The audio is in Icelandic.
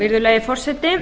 virðulegi forseti